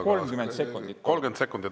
30 sekundit?